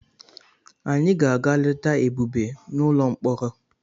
Anyị ga-aga leta Ebube n'ụlọ mkpọrọ.